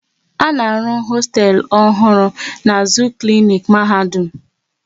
A na-arụ hosteelu ọhụrụ n'azụ klinik Mahadum